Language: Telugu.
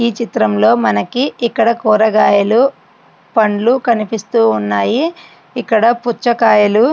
ఈ చిత్రంలో మనకి ఇక్కడ కూరగాయలు పండ్లు కనిపిస్తూ ఉన్నాయి. ఇక్కడ పుచ్చకాయలు --.>